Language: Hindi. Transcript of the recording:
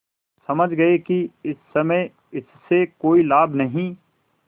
समझ गये कि इस समय इससे कोई लाभ नहीं